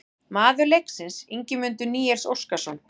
Maður leiksins: Ingimundur Níels Óskarsson